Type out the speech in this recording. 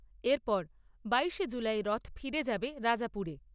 এরপর বাইশে জুলাই রথ ফিরে যাবে রাজাপুরে।